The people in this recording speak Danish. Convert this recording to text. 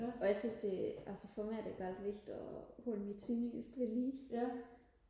og jeg synes det altså for mig er det vigtigt og holde mit sønderjysk ved lige